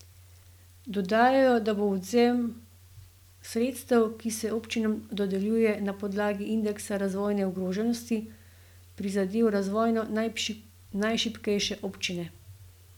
Dodajajo, da bo odvzem sredstev, ki se občinam dodeljujejo na podlagi indeksa razvojne ogroženosti, prizadel razvojno najšibkejše občine.